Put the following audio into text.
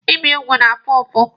Ibi ugwu na-afụ ụfụ.